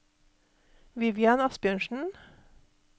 Vivian Asbjørnsen